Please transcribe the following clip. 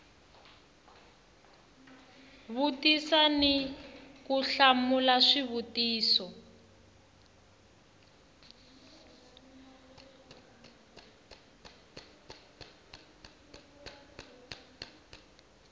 vutisa ni ku hlamula swivutiso